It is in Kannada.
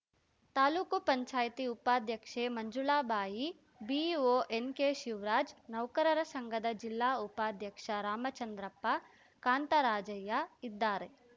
ತಾಲೂಕು ಪಂಚಾಯತಿ ಉಪಾಧ್ಯಕ್ಷೆ ಮಂಜುಳಾಬಾಯಿ ಬಿಇಒ ಎನ್‌ಕೆ ಶಿವ್ರಾಜ್‌ ನೌಕರರ ಸಂಘದ ಜಿಲ್ಲಾ ಉಪಾಧ್ಯಕ್ಷ ರಾಮಚಂದ್ರಪ್ಪ ಕಾಂತರಾಜಯ್ಯ ಇದ್ದಾರೆ